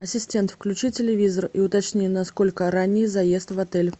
ассистент включи телевизор и уточни насколько ранний заезд в отель